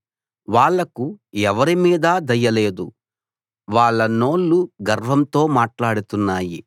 వాళ్లకు ఎవరిమీదా దయ లేదు వాళ్ళ నోళ్ళు గర్వంతో మాట్లాడుతున్నాయి